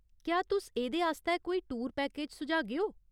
क्या तुस एह्दे आस्तै कोई टूर पैकेज सुझागेओ ?